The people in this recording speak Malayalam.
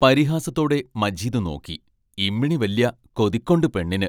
പരിഹാസത്തോടെ മജീദ് നോക്കി ഇമ്മിണി വല്യ കൊതിക്കൊണ്ട് പെണ്ണിന്!